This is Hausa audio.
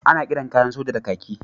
Ana kiran kayan sojoji kaki.